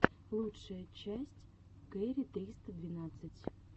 лучшая часть кэрри триста двенадцать